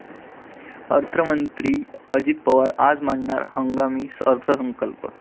अर्थमंत्री अजित पवार आज मांडणार हंगामी अर्थसंकल्प